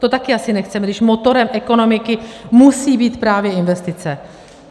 To taky asi nechceme, když motorem ekonomiky musí být právě investice.